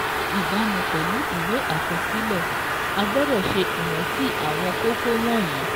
Ní ìbámu pẹ̀lú ìwé àkọsílẹ̀, a gbọ́dọ̀ ṣe ìrántí àwọn kókó wọ̀nyí: